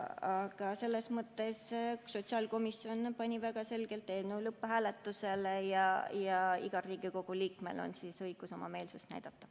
Aga sotsiaalkomisjon pani väga selge otsusega eelnõu lõpphääletusele ja igal Riigikogu liikmel on õigus oma meelsust näidata.